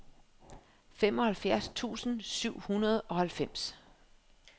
femoghalvfjerds tusind syv hundrede og halvfems